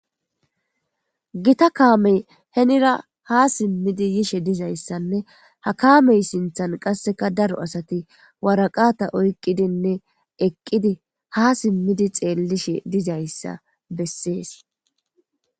Gita kaame hinira ha simmidi yishe diza issanne ha kaame sinthan qasseka daro asati woraqata oyqqidinne eqqidi ha simmidi xeellishe diza issa bessees.